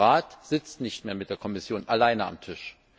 Der Rat sitzt nicht mehr mit der Kommission allein am Tisch.